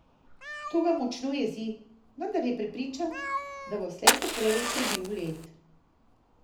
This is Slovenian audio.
To ga močno jezi, vendar je prepričan, da bo slejkoprej prebil led.